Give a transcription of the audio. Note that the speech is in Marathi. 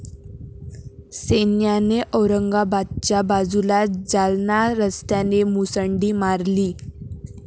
सैन्याने औरंगाबादच्या बाजूला जालना रस्त्याने मुसंडी मारली.